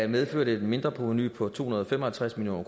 medfører det et mindreprovenu på to hundrede og fem og halvtreds million